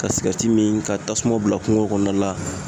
Ka sigɛriti min ka tasuma bila kungo kɔnɔna la